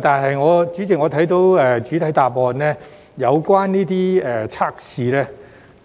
但是，我從主體答覆察悉，有關測試